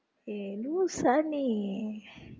ஹே லூசா நீ